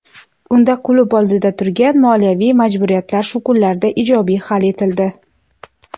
Unda klub oldida turgan moliyaviy majburiyatlar shu kunlarda ijobiy hal etildi.